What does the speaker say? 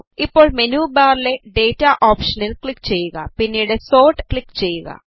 ഇപ്പോൾ മെനു ബാറിലെ ഡേറ്റ ഓപ്ഷനിൽ ക്ലിക് ചെയ്യുക പിന്നീട് സോർട്ട് ക്ലിക് ചെയ്യുക